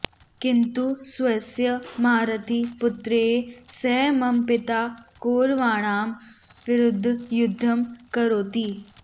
किन्तु स्वस्य महारथी पुत्रैः सह मम पिता कौरवाणां विरुध्दं युध्दं करोति